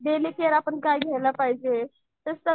Daily care आपण काय घ्यायला पाहिजे.